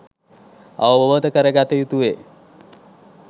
අවබෝධ කරගත යුතුවේ